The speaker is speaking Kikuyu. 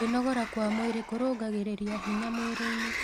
Kwĩnogora kwa mwĩrĩ kũrũngagĩrĩrĩa hinya mwĩrĩĩnĩ